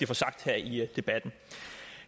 få sagt her i debatten